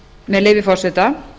með leyfi forseta